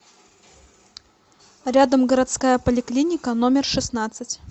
рядом городская поликлиника номер шестнадцать